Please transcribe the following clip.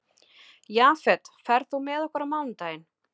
Jafet, ferð þú með okkur á mánudaginn?